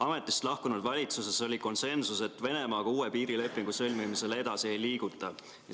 Ametist lahkunud valitsuses oli konsensus, et Venemaaga uue piirilepingu sõlmimisel edasi ei liiguta.